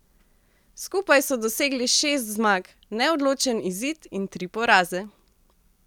Skupaj so dosegli šest zmag, neodločen izid in tri poraze.